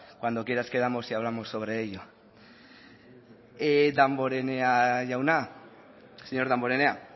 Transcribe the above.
cuando quieras quedamos y hablamos sobre ello señor damborenea